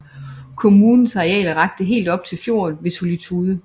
Kommunens areal rakte helt op til fjorden ved Solitude